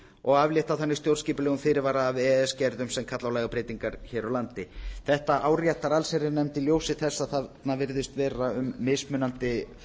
og aflétta þannig stjórnskipulegum fyrirvara af e e s gerðum sem kalla á lagabreytingar hér á landi þetta áréttar allsherjarnefnd í ljósi þess að þarna virðist vera um mismunandi